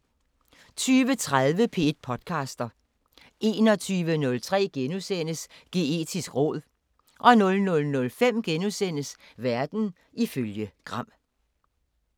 20:30: P1 podcaster 21:03: Geetisk råd * 00:05: Verden ifølge Gram *